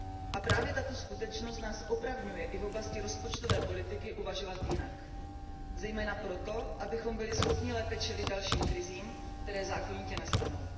A právě tato skutečnost nás opravňuje i v oblasti rozpočtové politiky uvažovat jinak, zejména proto, abychom byli schopni lépe čelit dalším krizím, které zákonitě nastanou.